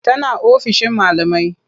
Tana ofishin malamai.